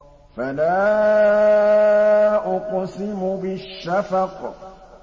فَلَا أُقْسِمُ بِالشَّفَقِ